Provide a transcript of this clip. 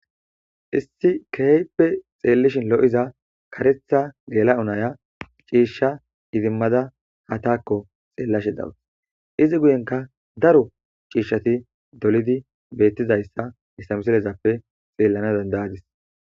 Issi keheyppe xeellishin lo,iza karetha gela unaya ciishsha idimmada ha taakko xeellashe dawus izi guyenka daro ciishshati dolidi beettizayssa istamisilezappe xeellana dandayadis.